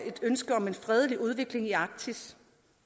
et ønske om en fredelig udvikling i arktis